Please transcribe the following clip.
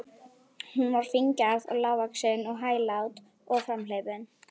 Hún var fíngerð og lágvaxin og hæglát og framhleypin.